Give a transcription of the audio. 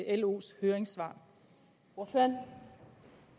af los høringssvar og